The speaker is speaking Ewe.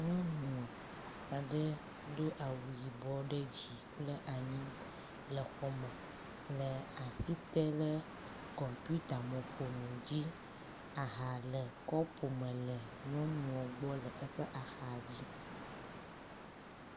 Nyɔnu aɖe do awu yibɔ ɖe dzi kple anyi le xɔ me le asi tem le kɔmpitamɔƒonu dzi, aha le kɔpu me le nyɔnua gbɔ le eƒe axa dzi.